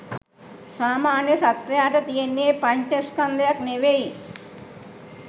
සාමාන්‍ය සත්වයාට තියෙන්නේ පංච ස්කන්ධයක් නෙවෙයි